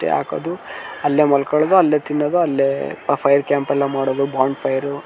ತ್ಯಾಕ್ ಅದು ಅಲ್ಲೇ ಮಲ್ಕೊಳೋದ್ ಅಲ್ಲೇ ತಿನ್ನೋದ್ ಅಲ್ಲೇ ಫೈರ್ ಕ್ಯಾಂಪ್ ಅಲ್ಲ ಮಾಡೋದು ಬೋನ್ ಫೈರು .